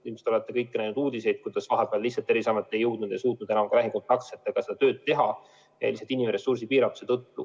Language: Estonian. Ilmselt olete kõik näinud uudiseid ja kuulnud, et vahepeal lihtsalt Terviseamet ei suutnud enam seda tööd teha, seda just inimressursi piiratuse tõttu.